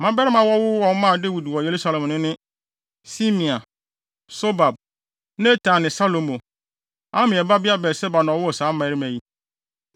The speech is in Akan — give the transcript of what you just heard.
Mmabarima a wɔwowoo wɔn maa Dawid wɔ Yerusalem no ne: Simea, Sobab, Natan ne Salomo. Amiel babea Batseba na ɔwoo saa mmarima yi.